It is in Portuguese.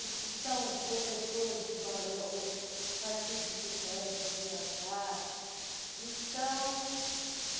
Os que são professores de balé hoje saem todos de férias, viajar. então